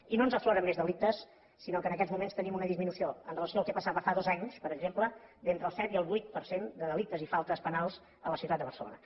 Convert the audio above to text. i no ens afloren més delictes sinó que en aquests moments tenim una disminució amb relació al que passava fa dos anys per exemple d’entre el set i el vuit per cent de delictes i faltes penals a la ciutat de barcelona